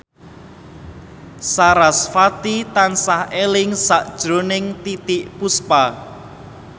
sarasvati tansah eling sakjroning Titiek Puspa